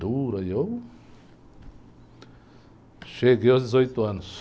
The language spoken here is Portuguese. Dura aí eu cheguei aos dezoito anos.